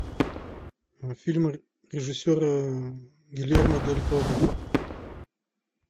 фильмы режиссера гильермо дель торо